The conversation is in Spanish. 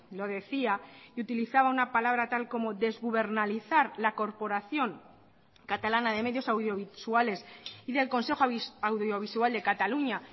lo decía y utilizaba una palabra tal como desgubernalizar la corporación catalana de medios audiovisuales y del consejo audiovisual de cataluña